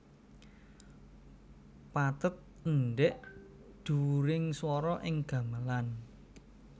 Pathet endhek dhuwuring swara ing gamelan